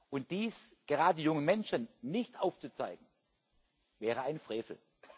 Und dies gerade jungen Menschen nicht aufzuzeigen, wäre ein Frevel.